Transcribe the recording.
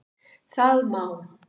Það má